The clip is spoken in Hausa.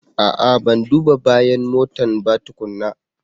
A'a! Ban duba bayan motan ba tukuna.